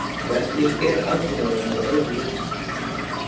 Hvernig er aðbúnaðurinn að öðru leyti?